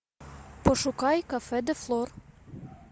пошукай кафе де флор